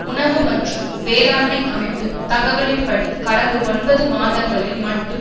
உணவு மற்றும் வேளாண்மை அமைப்பு தகவலின்படி கடந்த ஒன்பது மாதங்களில் மட்டும்